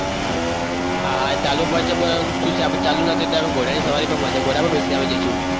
હા હા ચાલુ પડે છે પરંતુ શું છે આપણે ચાલુ નથી તો ઘોડાની સવારી ઘોડા માથે બેસી જઈશું.